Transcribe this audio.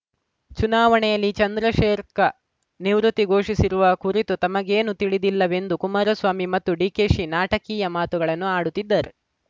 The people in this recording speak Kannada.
ಚುನಾವಣೆಯಲ್ಲಿ ಚಂದ್ರಶೇರ್ಖ್ ನಿವೃತ್ತಿ ಘೋಷಿಸಿರುವ ಕುರಿತು ತಮಗೇನೂ ತಿಳಿದಿಲ್ಲವೆಂದು ಕುಮಾರಸ್ವಾಮಿ ಮತ್ತು ಡಿಕೆಶಿ ನಾಟಕೀಯ ಮಾತುಗಳನ್ನು ಆಡುತ್ತಿದ್ದಾರೆ